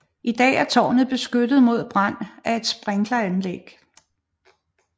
I dag er tårnet beskyttet mod brand af et sprinkleranlæg